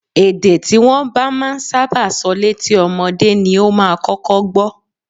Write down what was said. Èdè tí wọ́n bá ń sábà sọ létí ọmọdé ni ó máa kọ́kọ́ gbọ́